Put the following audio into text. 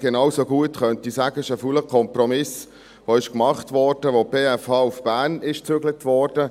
Genauso gut könnte ich sagen, es sei ein fauler Kompromiss, der gemacht wurde, als die BFH nach Bern gezügelt wurde.